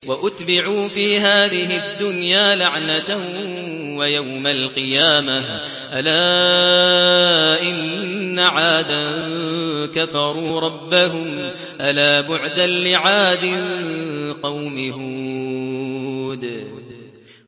وَأُتْبِعُوا فِي هَٰذِهِ الدُّنْيَا لَعْنَةً وَيَوْمَ الْقِيَامَةِ ۗ أَلَا إِنَّ عَادًا كَفَرُوا رَبَّهُمْ ۗ أَلَا بُعْدًا لِّعَادٍ قَوْمِ هُودٍ